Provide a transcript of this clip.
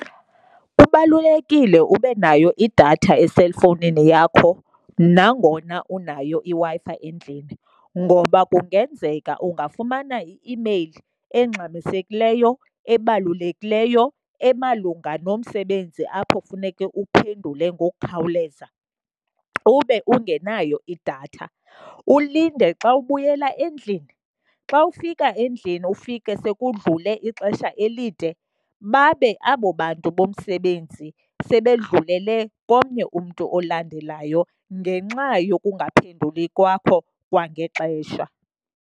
Kubalulekile ube nayo idatha eselfowunini yakho nangona unayo iWi-Fi endlini ngoba kungenzeka ungafumana i-imeyili engxamisekileyo, ebalulekileyo emalunga nomsebenzi apho funeke uphendule ngokukhawuleza ube ungenayo idatha. Ulinde xa ubuyela endlini, xa ufika endlini ufike sekudlule ixesha elide babe abo bantu bomsebenzi sebedlulele komnye umntu olandelayo ngenxa yokungaphenduli kwakho kwangexesha.